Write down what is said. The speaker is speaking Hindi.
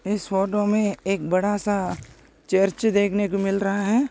इस फोटो मे एक बड़ासा चर्च देखने को मिल रहा है।